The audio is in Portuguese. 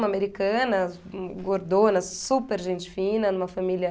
Uma americana, gordona, super gente fina, numa família...